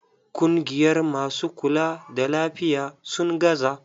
Kungiyar masu kula da lafiya, sun gaza.